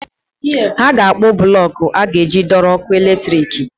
Ha ga-akpụ blọk e a ga-eji dọrọ ọkụ latrik.